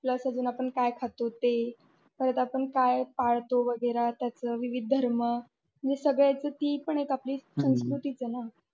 आपण काय खातो ते परत आपण काय पाळतो वगैरे त्याचं विविध धर्म आणि सगळ्याच ती पण एक आपली संस्कृतीच आहे,